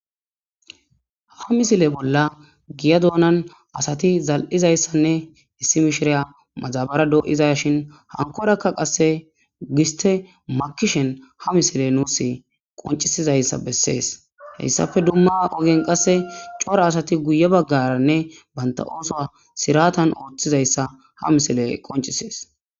ha misile bolla giya doonan asati zal7izayssanne issi mishiriya madabara do7izashin hankorakka qasse giste makishen ha misile nuus qoncisizayssa bessees heyssafe dumma ogen qasse cora asati guye baggaranne banta ooso siratan ooththizayssa ha misile qoncisees